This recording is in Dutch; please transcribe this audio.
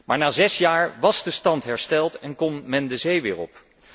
Maar na zes jaar was de stand hersteld en kon men de zee weer op.